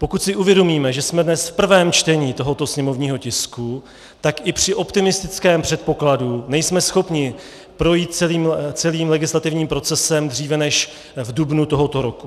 Pokud si uvědomíme, že jsme dnes v prvém čtení tohoto sněmovního tisku, tak i při optimistickém předpokladu nejsme schopni projít celým legislativním procesem dříve než v dubnu tohoto roku.